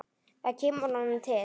Það kemur honum til.